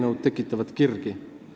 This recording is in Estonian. Mõlemad tekitavad kirgi.